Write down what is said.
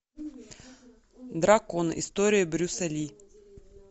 дракон история брюса ли